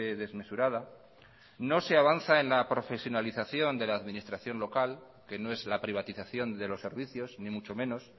desmesurada no se avanza en la profesionalización de la administración local que no es la privatización de los servicios ni mucho menos